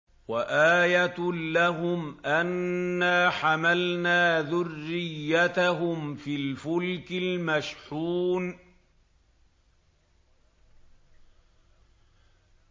وَآيَةٌ لَّهُمْ أَنَّا حَمَلْنَا ذُرِّيَّتَهُمْ فِي الْفُلْكِ الْمَشْحُونِ